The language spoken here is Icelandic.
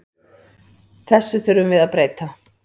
Þessu þurfum við að breyta.